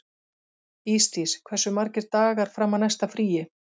Ísdís, hversu margir dagar fram að næsta fríi?